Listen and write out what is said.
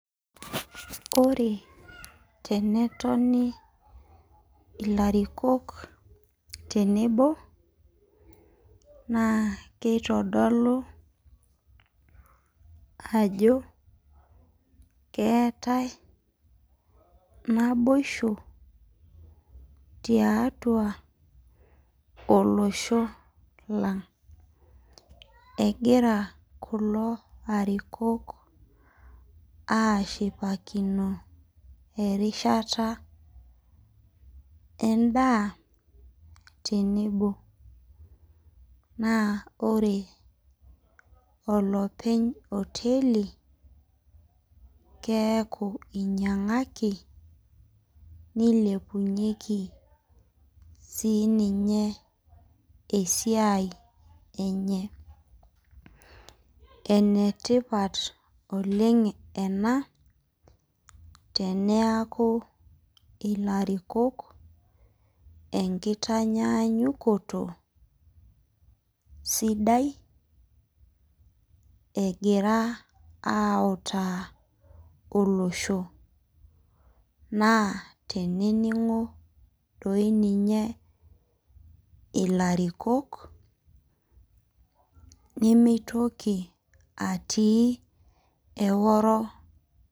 Tenetoni ilarikok tenebo naa keitodolu ajo keetae naboisho tiatua olosh lang. Egira kulo arikok aashipakino erishata endaa tenebo. Ore olpeny enkoteli keaku enyiangaki neilepunyieki siininye esiai enye. Enetipat oleng ena teneaku ilarikok enkitanyaanyukoto sidai egira autaa olosho. Naa teneningo doi ninye ilarikok nemeitoki atii eworo